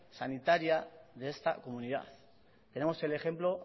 sanitaria de esta comunidad tenemos el ejemplo